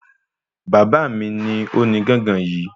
Bàbá mí lo ní gángan yìí